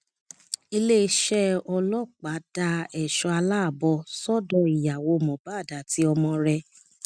iléeṣẹ ọlọpàá da ẹṣọ aláàbọ sọdọ ìyàwó mohbad àti ọmọ rẹ